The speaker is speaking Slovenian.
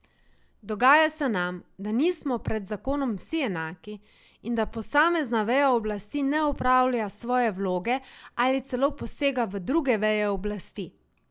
Dogaja se nam, da nismo pred zakonom vsi enaki in da posamezna veja oblasti ne opravlja svoje vloge ali celo posega v druge veje oblasti.